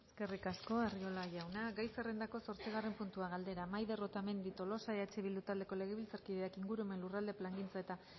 eskerrik asko arriola jauna gai zerrendako zortzigarren puntua galdera maider otamendi tolosa eh bildu taldeko legebiltzarkideak ingurumen lurralde plangintza eta